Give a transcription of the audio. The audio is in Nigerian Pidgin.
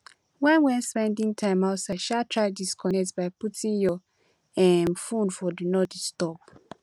when when spending time outside um try disconnect by putting your um phone for do not disturb